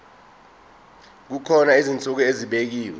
kukhona izinsuku ezibekiwe